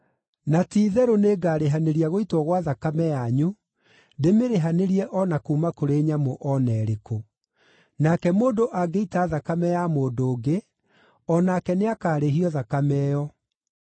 Na ti-itherũ nĩngarĩhanĩria gũitwo gwa thakame yanyu. Ndĩmĩrĩhanĩrie o na kuuma kũrĩ nyamũ o na ĩrĩkũ. Nake mũndũ angĩita thakame ya mũndũ ũngĩ, o nake nĩakarĩhio thakame ĩyo.